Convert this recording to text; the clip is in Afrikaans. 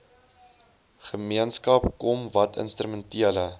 gemeenskap kom watinstrumentele